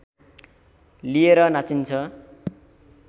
लिएर नाचिन्छ